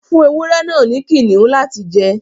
fún ewúrẹ náa fún Kiniun lati jẹ.